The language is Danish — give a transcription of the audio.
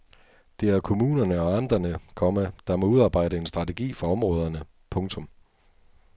Det er kommunerne og amterne, komma der må udarbejde en strategi for områderne. punktum